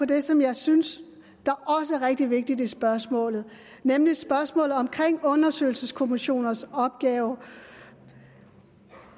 det som jeg synes der også er rigtig vigtigt i spørgsmålet nemlig spørgsmålet om undersøgelseskommissioners opgave